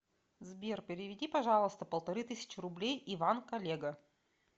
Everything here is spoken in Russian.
сбер переведи пожалуйста полторы тысячи рублей иван коллега